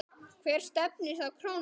Hvert stefnir þá krónan?